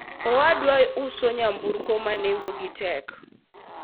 owadwa uso nyamburko ma nengo gi tek